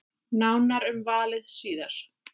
Nánar um valið síðar.